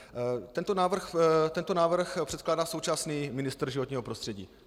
Tento návrh předkládá současný ministr životního prostředí.